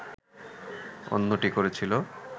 অন্যটি করেছিল